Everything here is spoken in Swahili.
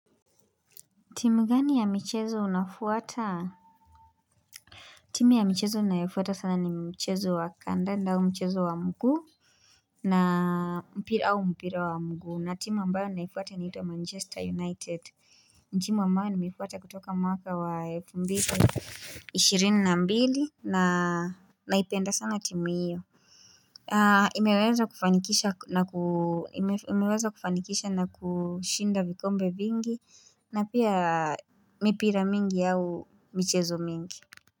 Timu gani ya michezo unafuata? Timu ya michezo nayofuata sana ni mchezu wa kandanda au mchezu wa mguu na mpira au mpira wa mguu na timu ambayo naifuata naifuata Manchester United ni tiimu ambayo nimefuata kutoka mwaka wa elfu mbili ishirini na mbili na naipenda sana timu iyo imeweza kufanikisha na kushinda vikombe vingi na pia mipira mingi au michezo mingi.